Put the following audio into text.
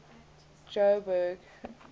jo'burg